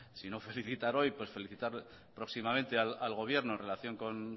sino felicitar hoy pues felicitar próximamente al gobierno en relación con